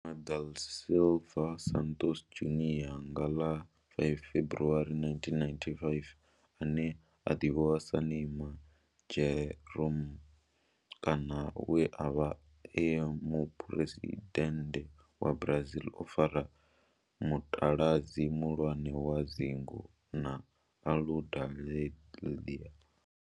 Neymar da Silva Santos Junior nga ḽa 5 February 1992, ane a ḓivhiwa sa Neymar Jeromme kana we a vha e muphuresidennde wa Brazil o fara mutaladzi muhulwane wa dzingu na Aludalelia.